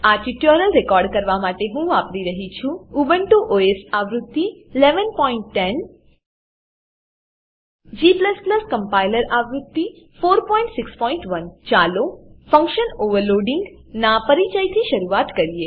આ tutorial record કરવા માટે હું વાપરી રહ્યો છું ઉબુન્ટુ ઓએસ આવૃત્તિ 1110 g કમ્પાઈલર આવૃત્તિ 461 ચાલો ફંકશન ઓવરલોડિંગ ફંક્શન ઓવરલોડીંગ નાં પરિચયથી શરૂઆત કરીએ